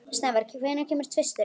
Snævar, hvenær kemur tvisturinn?